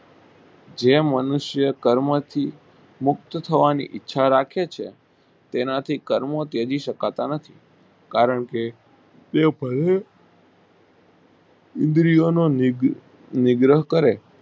જે મનુષ્યો કર્મ થી મુક્ત થવાની ઈચ્છા રાખે છે તેનાથી કર્મ ત્યજી સકતા નથી કારણ કે તે પહેલા ઈન્દ્રી ઓ નો નિગ્રહ કરે.